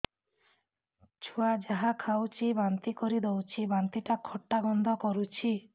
ଛୁଆ ଯାହା ଖାଉଛି ବାନ୍ତି କରିଦଉଛି ବାନ୍ତି ଟା ଖଟା ଗନ୍ଧ କରୁଛି